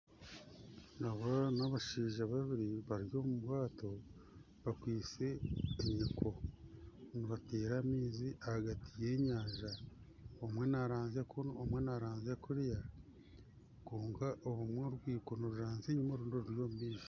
Oba n'abashaija babiri bari omubwato bakwitse enyiko nibatera amaizi ahagati y'enyanja omwe naranzya kunu omwe naranzya kuriya kwonka orumwe orwiko niruranzya enyuma orundi ruri omumaisho.